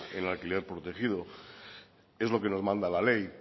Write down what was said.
en alquiler protegido es lo que nos manda la ley